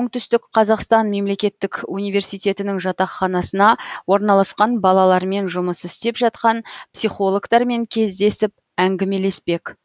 оңтүстік қазақстан мемлекеттік университетінің жатақханасына орналасқан балалармен жұмыс істеп жатқан психологтармен кездесіп әңгімелеспек